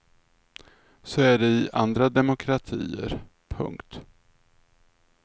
Så är det i andra demokratier. punkt